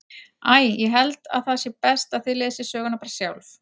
Æ, ég held að það sé best að þið lesið söguna bara sjálf.